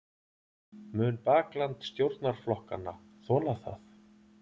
Mun bakland stjórnarflokkanna þola það?